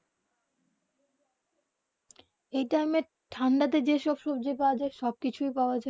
যেই টাইম ঠান্ডা তে যে সব সবজি পাওবা যায় সব কিছু পাওবা যায়